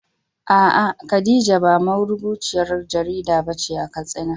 A’a, Khadija ba marubuciyar jarida ba ce a Katsina.